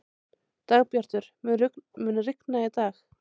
Dagbjartur, mun rigna í dag?